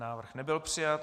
Návrh nebyl přijat.